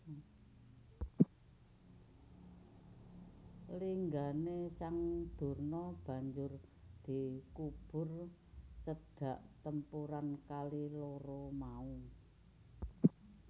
Linggané sang Durna banjur dikubur cedhak tempuran kali loro mau